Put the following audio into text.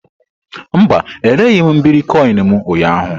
Mba, ereghị m iberikoinu m ụnyaahụ.